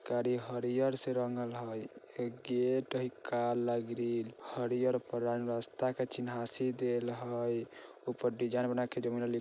गाड़ी हरियर से रंगल हय एक गेट हय काला ग्रील हरियर परानरास्ता का चीन्हासी देल हय ऊपर डिज़ाइन बना के लिख --